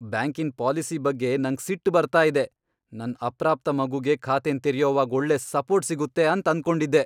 ಬ್ಯಾಂಕಿನ್ ಪಾಲಿಸಿ ಬಗ್ಗೆ ನಂಗ್ ಸಿಟ್ ಬರ್ತಾ ಇದೆ. ನನ್ ಅಪ್ರಾಪ್ತ ಮಗುಗೆ ಖಾತೆನ್ ತೆರ್ಯೊವಾಗ್ ಒಳ್ಳೆ ಸಪೋರ್ಟ್ ಸಿಗುತ್ತೆ ಅಂತ್ ಅನ್ಕೊಂಡಿದ್ದೆ.